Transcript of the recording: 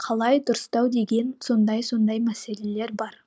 қалай дұрыстау деген сондай сондай мәселелер бар